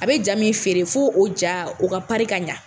A be ja min feere fo o jan, o ka pari ka ɲa.